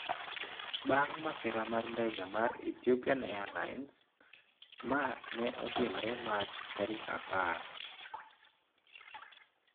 Bang' masira mar ndege mar Ethiopian Airlines, ma ne otimore Mach tarik apar